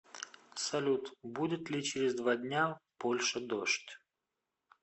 салют будет ли через два дня в польше дождь